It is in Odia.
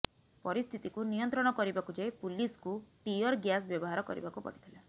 ପରିସ୍ଥିତିକୁ ନିୟନ୍ତ୍ରଣ କରିବାକୁ ଯାଇ ପୁଲିସ୍କୁ ଟିୟର୍ ଗ୍ୟାସ୍ ବ୍ୟବହାର କରିବାକୁ ପଡ଼ିଥିଲା